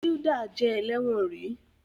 Hilda jé ẹlẹwọn rí